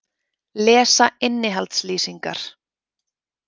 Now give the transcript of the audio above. Lesa innihaldslýsingar.